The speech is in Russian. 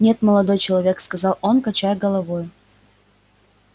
нет молодой человек сказал он качая головою